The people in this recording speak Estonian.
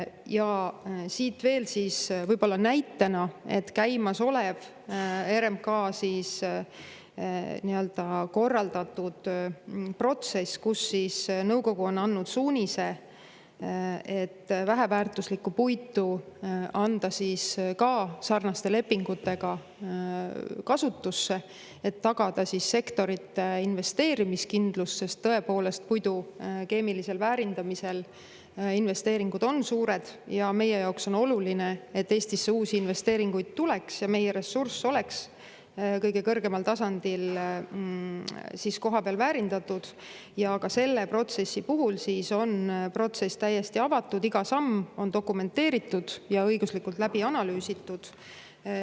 Ja siit veel võib-olla näitena, et käimasoleva RMK korraldatud protsessi puhul, kus nõukogu on andnud suunise anda väheväärtuslikku puitu ka sarnaste lepingutega kasutusse, et tagada sektorite investeerimiskindlus – sest tõepoolest, puidu keemilisel väärindamisel investeeringud on suured ja meie jaoks on oluline, et Eestisse uusi investeeringuid tuleks ja meie ressurss oleks kõige kõrgemal tasandil kohapeal väärindatud –, on protsess täiesti avatud, iga samm on dokumenteeritud ja õiguslikult läbi analüüsitud.